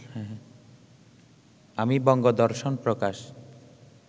আমি বঙ্গদর্শন প্রকাশ